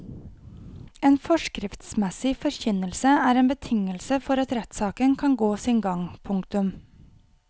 En forskriftsmessig forkynnelse er en betingelse for at rettssaken kan gå sin gang. punktum